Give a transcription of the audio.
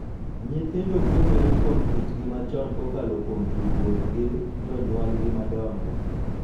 Nyithindo puonjore kuom kitgi machon kokalo kuom tudruok gi jonyuolgi madongo,